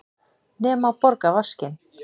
Nema borga vaskinn.